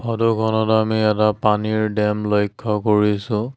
ফটোখনত আমি এটা পানীৰ ডেম লক্ষ্য কৰিছোঁ।